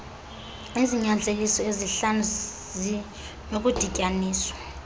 izinyanzeliso ezihlanu zinokudityaniswa